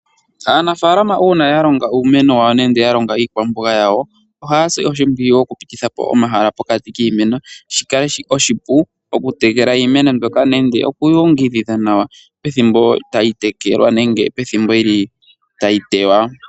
Aanafaalama uuna ya longa iimeno yawo nenge ya longa iikwamboga yawo ohaya si oshimpwiyu okupititha po omahala pokati kiimeno, shi kale oshipu okutekela iimeno mbyoka pethimbo tayi teywa.